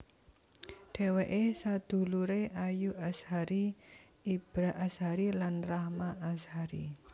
Dhèwèké saduluré Ayu Azhari Ibra Azhari lan Rahma Azhari